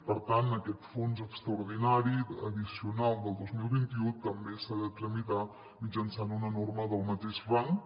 per tant aquest fons extraordinari addicional del dos mil vint u també s’ha de tramitar mitjançant una norma del mateix rang